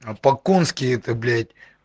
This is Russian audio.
а по конски это блять